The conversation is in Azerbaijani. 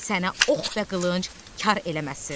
Sənə ox və qılınc kar eləməsin.